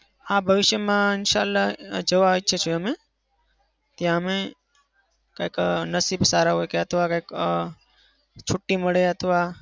હા ભવિષ્યમાં ઇન્શાહ અલ્હા જવા ઈચ્છું છું અમે. ત્યાં અમે કાંઈક અમ નસીબદાર હોય કાતો અમ કાંઈક છુટ્ટી મળે અથવા